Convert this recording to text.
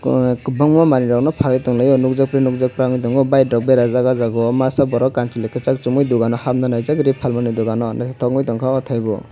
kobangma manui rok no palui tanglaui nugjaiktui nugjaktang tango bike rok berajak o jaga o masa borok kansoloi kesak sumoui dogano habna nai jak ri palmani dogano tangoi tangka otai bo.